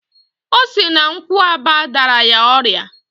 Osi na nkwuaba dara ya oria